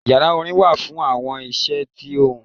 Ìyará orin wa fún awọn iṣẹ tí ohún.